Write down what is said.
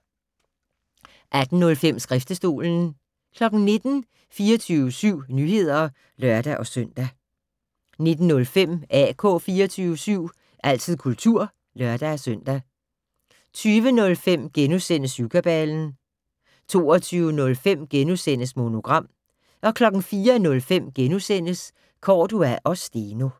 18:05: Skriftestolen 19:00: 24syv Nyheder (lør-søn) 19:05: AK 24syv - altid kultur (lør-søn) 20:05: Syvkabalen * 22:05: Monogram * 04:05: Cordua & Steno *